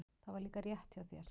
Það var líka rétt hjá þér.